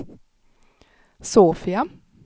Sofia